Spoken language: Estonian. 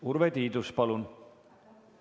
Urve Tiidus, palun!